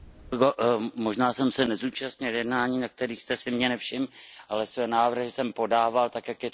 Možná jsem se nezúčastnil jednání, na kterých jste si mě nevšiml, ale své návrhy jsem podával tak, jak je to zvykem.